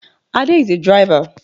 Ade is a driver